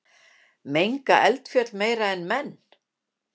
Menga eldfjöll meira en menn?